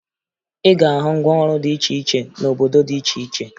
Ị ga-ahụ ngwaọrụ dị iche cihe n'obodo dị iche iche